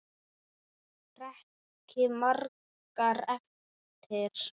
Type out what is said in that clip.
Breki: Margar eftir?